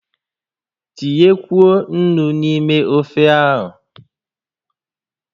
Tinyekwuo ńnú n'ime ófé a!